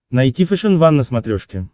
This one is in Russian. найти фэшен ван на смотрешке